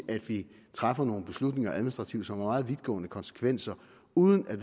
at sige træffer nogle beslutninger administrativt som har meget vidtgående konsekvenser uden at